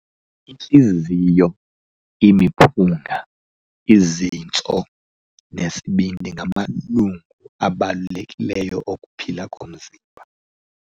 Intliziyo, imiphunga, izintso nesibindi ngamalungu abalulekileyo okuphila komzimba.